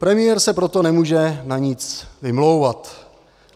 Premiér se proto nemůže na nic vymlouvat.